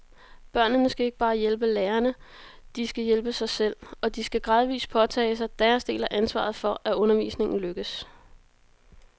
Børnene skal ikke bare hjælpe lærerne, de skal hjælpe sig selv, og de skal gradvis påtage sig deres del af ansvaret for, at undervisningen lykkes.